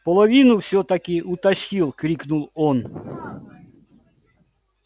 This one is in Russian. половину всё-таки утащил крикнул он